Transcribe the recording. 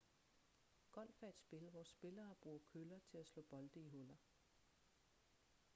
golf er et spil hvor spillere bruger køller til at slå bolde i huller